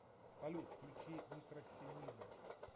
салют включи нитроксениза